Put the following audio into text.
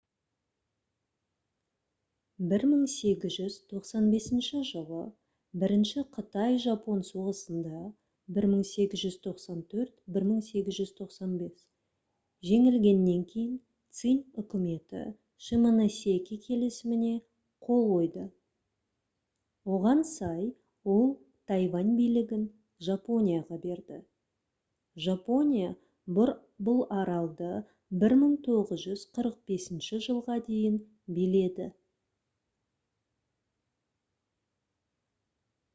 1895 жылы бірінші қытай-жапон соғысында 1894-1895 жеңілгеннен кейін цинь үкіметі шимоносеки келісіміне қол қойды. оған сай ол тайвань билігін жапонияға берді. жапония бұл аралды 1945 жылға дейін биледі